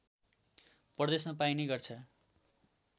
प्रदेशमा पाइने गर्छ